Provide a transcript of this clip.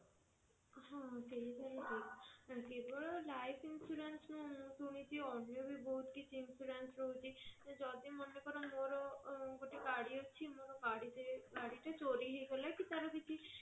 ହଁ ସେଇଟା ହିଁ କେବଳ life insurance ନୁହଁ ମୁଁ ଶୁଣିଛି ଅନ୍ୟ ବି ବହୁତ କିଛି insurance ରହୁଛି ଯଦି ମନେ କର ମୋର ଗୋଟେ ଗାଡି ଅଛି ମୋର ଗାଡି ଟେ ଗାଡି ଟେ ଚୋରି ହେଇଗଲା କି ତାର କିଛି